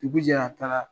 Dugu jɛra a taara